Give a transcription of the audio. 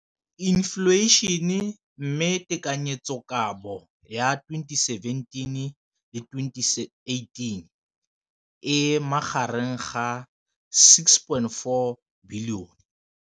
Infleišene, mme tekanyetsokabo ya 2017, 18, e magareng ga R6.4 bilione.